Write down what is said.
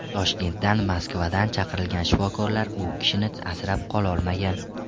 Toshkentdan, Moskvadan chaqirilgan shifokorlar u kishini asrab qololmagan.